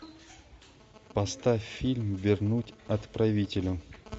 поставь фильм вернуть отправителю